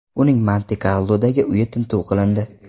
Uning Monte-Karlodagi uyi tintuv qilindi.